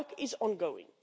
That work is ongoing.